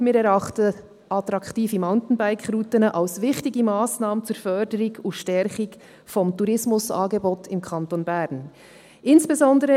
Wir erachten attraktive MountainbikeRouten als eine wichtige Massnahme zur Förderung und Stärkung des Tourismusangebots im Kanton Bern.